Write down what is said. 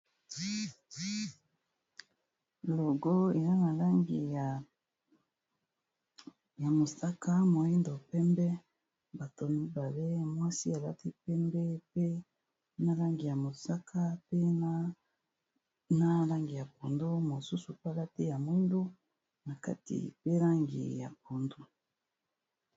Logo eza na langi ya mosaka, moyindo, pembe, bato mibabe mwasi alati pembe pe na langi ya mosaka pe na langi ya pondu mosusu pe alati ya mwindu na kati pe langi ya pondu.